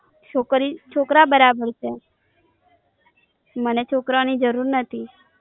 છોકરી છોકરા બરાબર છે. મને છોકરાઓની જરૂર નથી.